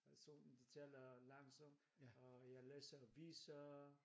Så de taler langsomt og jeg læser aviser